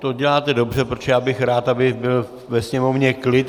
To děláte dobře, protože já bych rád, aby byl ve sněmovně klid.